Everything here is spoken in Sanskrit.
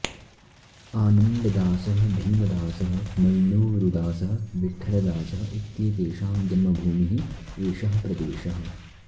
आनन्ददासः भीमदासः मण्णूरुदासः विठलदासः इत्येतेषां जन्मभूमिः एषः प्रदेशः